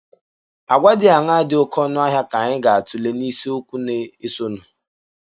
Àgwà dị aṅaa dị oké ọnụ ahịa ka anyị ga - atụle n’isiokwu na - esonụ